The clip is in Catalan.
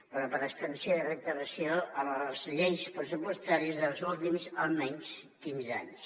però per extensió i reiteració a les lleis pressupostàries dels últims almenys quinze anys